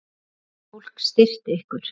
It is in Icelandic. Hvernig getur fólk styrkt ykkur?